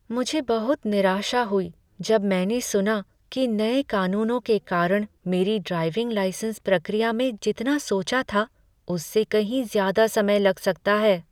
मुझे बहुत निराशा हुई जब मैंने सुना कि नए कानूनों के कारण मेरी ड्राइविंग लाइसेंस प्रक्रिया में जितना सोचा था उससे कहीं ज्यादा समय लग सकता है।